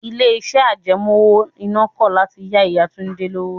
Ilé iṣẹ́ àjẹmó owó iná kọ̀ láti yá Ìyá Túndé lówó.